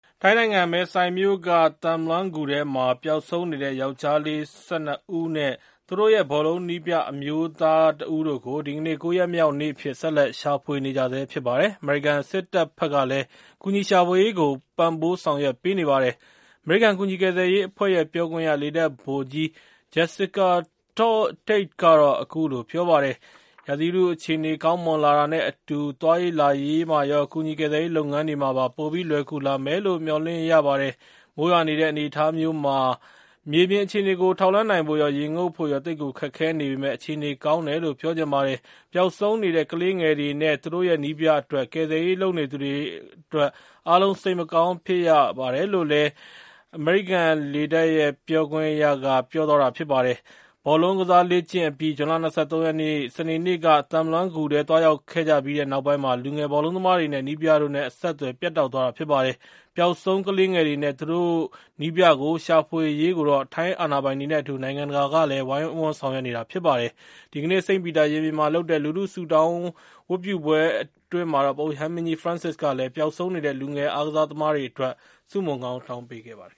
ထိုင်းနိုင်ငံ မယ်ဆိုင်မြို့က Tham Luang ဂူထဲမှာ ပျောက်ဆုံးနေတဲ့ ယောကျာ်း ကလေး ၁၂ ဦးနဲ့ သူတို့ရဲ့ ဘောလုံး နည်းပြ အမျိုးသား တဦးတို့ကို ဒီကနေ့ ၉ ရက်မြောက်နေ့ အဖြစ် ဆက်လက် ရှာဖွေနေကြဆဲ ဖြစ်ပါတယ်။ အမေရိကန် စစ်တပ်ဘက်ကလည်း ကူညီရှာဖွေရေးကို ပံ့ပိုးဆောင်ရွက်ပေးနေတာပါ။ အမေရိကန် ကူညီကယ်ဆယ်ရေး အဖွဲ့ရဲ့ ပြောခွင့်ရ လေတပ် ဗိုလ်ကြီး Jessica Tait က အခုလို ပြောပါတယ်။ "ရာသီဥတု အခြေအနေ ကောင်းမွန်လာတာနဲ့ အတူ သွားရေး လာရေးမှာရော ကူညီကယ်ဆယ်ရေး လုပ်ငန်းတွေမှာပါ ပိုပြီး လွယ်ကူလာမယ်လို့ မျှော်လင့်ရပါတယ်။ မိုးရွာနေတဲ့ အနေအထား မျိုးမှာ မြေပြင် အခြေအနေကို ထောက်လှမ်းနိုင်ဖို့ရော ရေငုပ်ဖို့ရော သိပ်ကို ခက်ခဲ့နေပေမယ့် အခြေအနေ ကောင်းတယ်လို့ ပြောချင်ပါတယ်။ ပျောက်ဆုံးနေတဲ့ ကလေးငယ်တွေနဲ့ သူတို့ရဲ့ နည်းပြ အတွက် ကယ်ဆယ်ရေး လုပ်နေသူတွေ အားလုံး စိတ်မကောင်း ဖြစ်ကြရပါတယ်။ ဘောလုံးကစား လေ့ကျင့် အပြီး ဇွန်လ ၂၃ ရက်နေ့ စနေနေ့က Tham Luang ဂူထဲ သွားရောက်ခဲ့ကြပြီးနောက်ပိုင်းမှာ လူငယ် ဘောလုံးသမားတွေနဲ့ နည်းပြတို့နဲ့ အဆက်အသွယ် ပြတ်တောက်သွားတာ ဖြစ်ပါတယ်။ ပျောက်ဆုံး ကလေးငယ်တွေနဲ့ သူတို့ နည်းပြကို ရှာဖွေရေးကိုတော့ ထိုင်းအာဏာပိုင်တွေနဲ့ အတူ နိုင်ငံတကာကလည်း ဝိုင်းဝန်းဆောင်ရွက်နေကြပါတယ်။ ဒီကနေ့ စိန့်ပီတာ ရင်ပြင်မှာ လုပ်တဲ့ လူထု ဆုတောင်း ဝတ်ပြုပွဲ အတွင်း ပုပ်ရဟန်းမင်းကြီး ဖရန်စစ်ကလည်း ပျောက်ဆုံးနေတဲ့ လူငယ် အားကစား သမားတွေ အတွက် ဆုမွန်တောင်းပေးခဲ့ပါတယ်